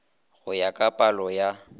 go ya ka palo ya